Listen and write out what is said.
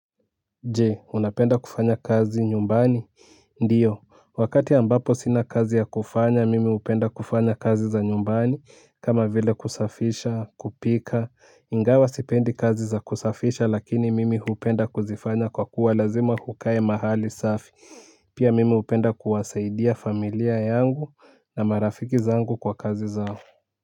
Je unapenda kufanya kazi nyumbani ndiyo wakati ambapo sina kazi ya kufanya mimi upenda kufanya kazi za nyumbani kama vile kusafisha kupika ingawa sipendi kazi za kusafisha lakini mimi hupenda kuzifanya kwa kuwa lazima hukae mahali safi pia mimi hupenda kuwasaidia familia yangu na marafiki zangu kwa kazi zao.